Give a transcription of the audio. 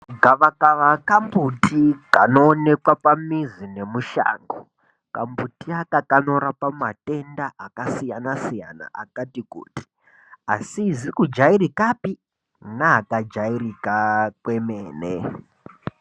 Gavakava kambuti kanoonekwa pamizi nemushango. Kambuti aka kanorapa matenda akasiyana siyana akati kuti asizi kujairikapi neakajairika kwemene.